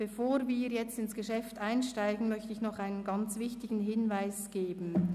Bevor wir nun ins Geschäft einsteigen, möchte ich noch einen ganz wichtigen Hinweis anbringen.